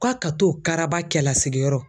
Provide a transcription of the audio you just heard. Ko a ka t'o karaba cɛlasigiyɔrɔ